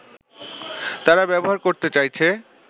তারা ব্যবহার করতে চাইছে